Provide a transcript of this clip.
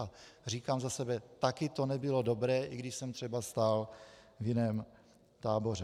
A říkám za sebe, taky to nebylo dobré, i když jsem třeba stál v jiném táboře.